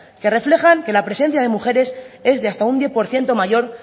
que reflejan que la presencia de mujeres es de hasta un diez por ciento mayor